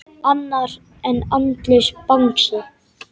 Annar en andlaus Bangsi.